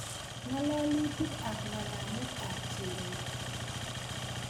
Ngalalutik ab ngalalet ab Cherono